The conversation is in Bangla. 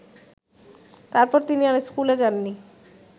তারপর তিনি আর স্কুলে যাননি